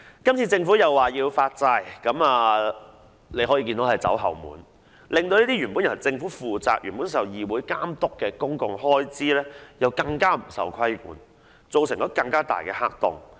今次政府再次採取發債方式，可說是"走後門"，令原本由政府負責、受議會監督的公共開支更加不受規管，造成更大的黑洞。